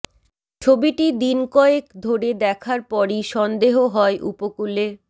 ছবিটি দিন কয়েক ধরে দেখার পরই সন্দেহ হয় উপকূলে